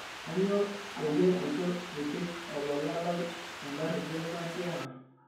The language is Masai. kainyo peyie eitu ipik lola lai enkari duo naatiaka